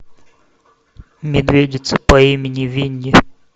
медведица по имени винни